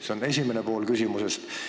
See on esimene pool küsimusest.